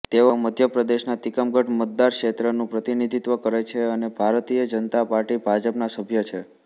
તેઓ મધ્ય પ્રદેશના તિકમગઢ મતદારક્ષેત્રનું પ્રતિનિધિત્વ કરે છે અને ભારતીય જનતા પાર્ટી ભાજપના સભ્ય છે